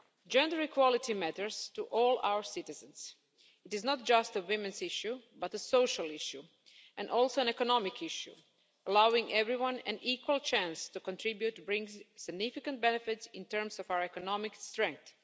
Gender equality matters to all our citizens. It is not just a women's issue but a social issue and also an economic issue allowing everyone an equal chance to contribute brings significant benefits in terms of our economic strength.